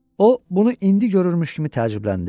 O bunu indi görürmüş kimi təəccübləndi.